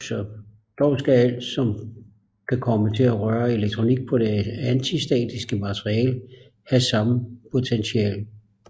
Dog skal alt som kan komme til at røre elektronik på det antistatiske materiale have samme potential